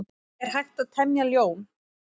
Er hægt að temja ljón?